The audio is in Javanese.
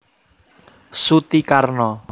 Suti Karno